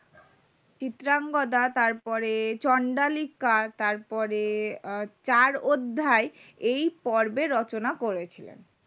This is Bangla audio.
চিত্রঙ্গদা তারপরে চণ্ডালিকা তারপরে চার অধ্যায় এই পর্ব রচনা করেছিলেন